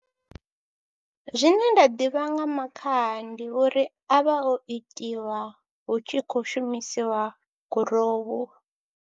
Zwine nda ḓivha nga makhaha ndi uri anvha o itiwa hu tshi khou shumisiwa gurowu.